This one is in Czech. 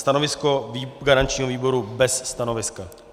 Stanovisko garančního výboru - bez stanoviska.